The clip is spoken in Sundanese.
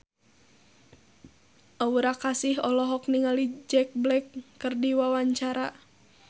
Aura Kasih olohok ningali Jack Black keur diwawancara